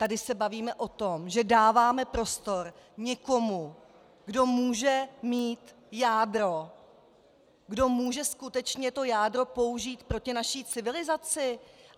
Tady se bavíme o tom, že dáváme prostor někomu, kdo může mít jádro, kdo může skutečně to jádro použít proti naší civilizaci!